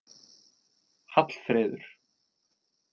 Hallfreður